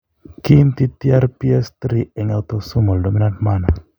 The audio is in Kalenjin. Kiinti TRPS3 en autosomal dominant manner.